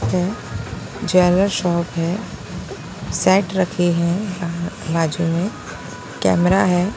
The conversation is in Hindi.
है ज्वेलर शॉप है सेट रखे हैं बाजू में कैमरा है।